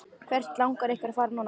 Hvert langar ykkur að fara núna?